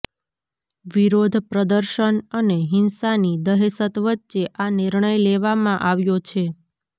વિરોધ પ્રદર્શન અને હિંસાની દહેશત વચ્ચે આ નિર્ણય લેવામાં આવ્યો છે